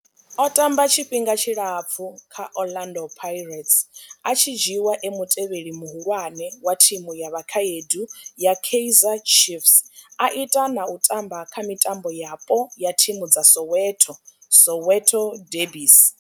O tamba tshifhinga tshilapfhu kha Orlando Pirates, a tshi dzhiiwa e mutevheli muhulwane wa thimu ya vhakhaedu ya Kaizer Chiefs, a ita na u tamba kha mitambo yapo ya thimu dza Soweto Soweto derbies.